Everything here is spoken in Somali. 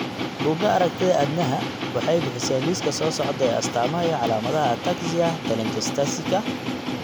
Bugaa aragtida aDdanaha waxay bixisaa liiska soo socda ee astamaha iyo calaamadaha Ataxia telangiectasiaka.